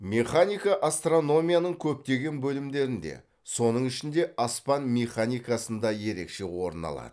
механика астрономияның көптеген бөлімдерінде соның ішінде аспан механикасында ерекше орын алады